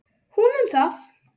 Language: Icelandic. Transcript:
Hún um það.